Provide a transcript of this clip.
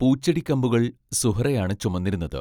പൂച്ചെടിക്കമ്പുകൾ സുഹ്റായാണ് ചുമന്നിരുന്നത്.